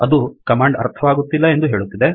ಅದು ಕಮಾಂಡ್ ಅರ್ಥವಾಗುತ್ತಿಲ್ಲ ಎಂದು ಹೇಳುತ್ತಿದೆ